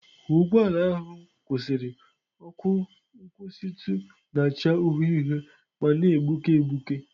Ka ụgbọ ala ahụ kwụsịrị, ọkụ nkwụsịtụ na-acha uhie uhie ma na-egbuke egbuke.